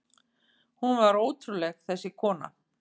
Hún var ótrúleg, þessi kona.